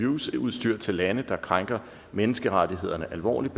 use udstyr til lande der krænker menneskerettighederne alvorligt